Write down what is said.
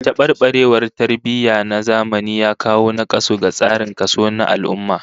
Tabarbarewar tarbiyya na zamani ya kawo nakasu ga tsarin kaso na al'ummah